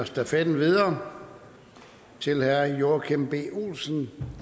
stafetten videre til herre joachim b olsen